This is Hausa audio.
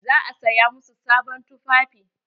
Za a saya masu sabon tufafi.